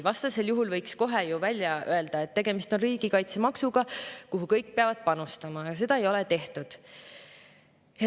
Vastasel juhul võiks kohe ju välja öelda, et tegemist on riigikaitsemaksuga, kuhu kõik peavad panustama, aga seda ei ole tehtud.